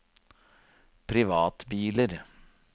privatbiler